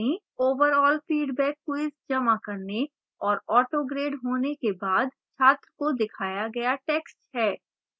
overall feedback quiz जमा करने और autograded होने के बाद छात्र को दिखाया गया text है